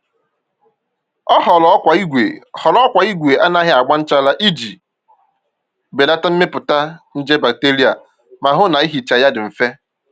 Ọ họọrọ ọkwá igwe họọrọ ọkwá igwe anaghị agba nchara iji belata mmepụta nje bacteria ma hụ na ihicha ya dị mfe